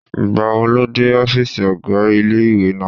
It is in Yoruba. Ìgbàwo lo dé ọ́fìsì ọ̀gá ilé-ìwé náà?